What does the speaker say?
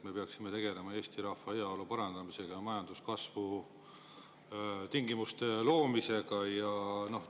Me peaksime tegelema Eesti rahva heaolu parandamisega ja majanduskasvu tingimuste loomisega.